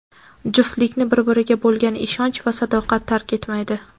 juftlikni bir-biriga bo‘lgan ishonch va sadoqat tark etmaydi.